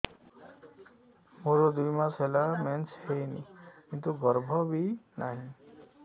ମୋର ଦୁଇ ମାସ ହେଲା ମେନ୍ସ ହେଇନି କିନ୍ତୁ ଗର୍ଭ ବି ନାହିଁ